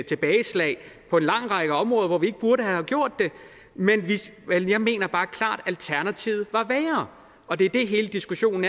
tilbageslag på en lang række områder hvor vi ikke burde have gjort det men jeg mener bare klart at alternativet var værre og det er det hele diskussionen